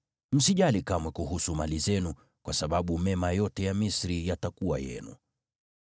Msijali kamwe kuhusu mali zenu, kwa sababu mema yote ya Misri yatakuwa yenu.’ ”